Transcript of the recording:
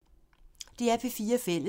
DR P4 Fælles